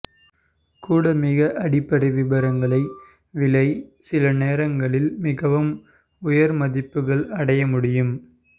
கூட மிக அடிப்படை விருப்பங்களை விலை சில நேரங்களில் மிகவும் உயர் மதிப்புகள் அடைய முடியும்